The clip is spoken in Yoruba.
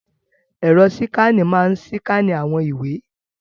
Ẹ̀rọ síkánà máa síkánì àwọn ìwé.